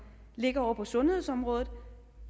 ligger ovre på sundhedsområdet og